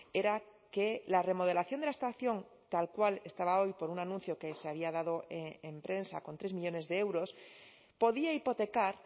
era que la remodelación de la estación tal cual estaba hoy por un anuncio que se había dado en prensa con tres millónes de euros podía hipotecar